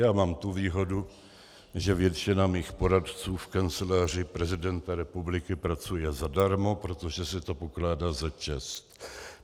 Já mám tu výhodu, že většina mých poradců v Kanceláři prezidenta republiky pracuje zadarmo, protože se to pokládá za čest.